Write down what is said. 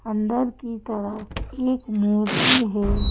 अंदर की तरफ एक मूर्ति है।